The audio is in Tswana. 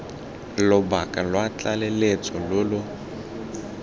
lobaka lwa tlaleletso lo lo